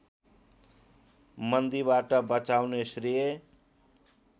मन्दीबाट बचाउने श्रेय